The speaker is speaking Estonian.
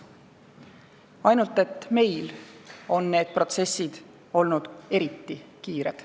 Ainult et meil on need protsessid olnud eriti kiired.